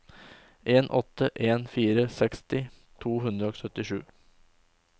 en åtte en fire seksti to hundre og syttisju